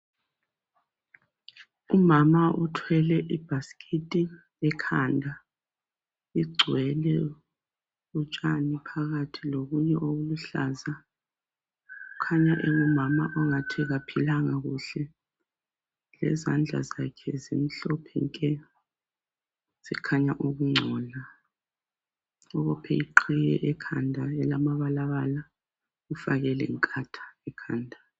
umama uthwele ibhasikiti ekhanda igcwele utshani phakathi lokunye okuluhlaza kukhanya engumama ongathi akaphilanga kuhle lezandla zakhe zimhlophe nke zikhanya ukuncola ubophe ihiye ekhanda elamabalabala ufake lenkatha ekhanda